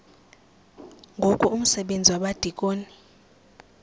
ngoku umsebenzi wabadikoni